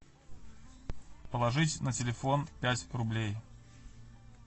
положить на телефон пять рублей